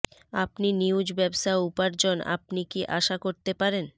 আপনি নিউজ ব্যবসা উপার্জন আপনি কি আশা করতে পারেন